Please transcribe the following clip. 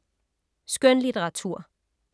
Skønlitteratur